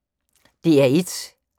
DR1